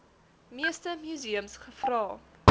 meeste museums gevra